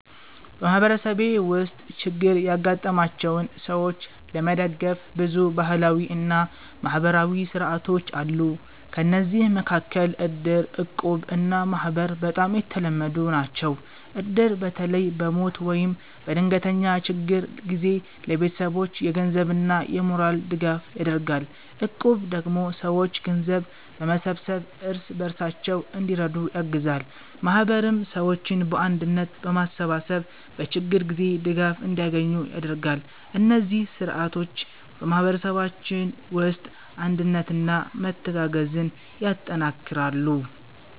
በማህበረሰቤ ውስጥ ችግር ያጋጠማቸውን ሰዎች ለመደገፍ ብዙ ባህላዊ እና ማህበራዊ ሥርዓቶች አሉ። ከእነዚህ መካከል እድር፣ እቁብ እና ማህበር በጣም የተለመዱ ናቸው። እድር በተለይ በሞት ወይም በድንገተኛ ችግር ጊዜ ለቤተሰቦች የገንዘብና የሞራል ድጋፍ ያደርጋል። እቁብ ደግሞ ሰዎች ገንዘብ በመሰብሰብ እርስ በርሳቸው እንዲረዱ ያግዛል። ማህበርም ሰዎችን በአንድነት በማሰባሰብ በችግር ጊዜ ድጋፍ እንዲያገኙ ያደርጋል። እነዚህ ሥርዓቶች በማህበረሰባችን ውስጥ አንድነትና መተጋገዝን ያጠናክራሉ።